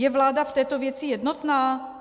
Je vláda v této věci jednotná?